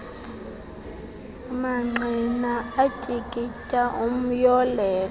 mangqina atyikitya umyolelo